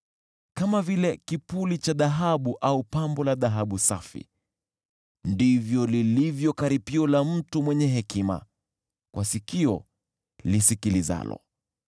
Kama vile kipuli cha dhahabu au pambo la dhahabu safi, ndivyo lilivyo karipio la mtu mwenye hekima kwa sikio lisikilizalo.